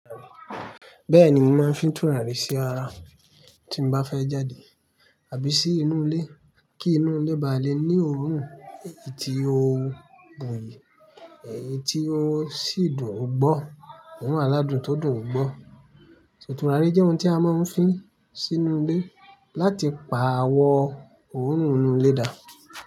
Bẹ́ẹ̀ ni mí mo maa ń fi tùràrí sí ara tí n bá fẹ́ jáde àbí sí inú ilé kí inú ilé ba lè ní òórùn èyí tí òo buyì, èyí tí òò sì dùn gbọ́, orún aládùn tó dùn gbọ́. So tùràrí jẹ́ ohun tí a máa ń fin sínú ilé láti pa àwọ òórùn inú ilé dà.